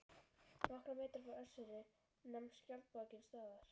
Nokkra metra frá Össuri nam skjaldborgin staðar.